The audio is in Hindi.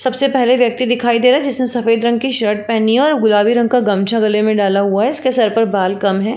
सबसे पहले व्यक्ति दिखाई दे रहा है जिसने सफ़ेद रंग कि शर्ट पहनी है और गुलाबी रंग का गमछा गले में डाला हुआ है। इसके सर पर बाल कम है।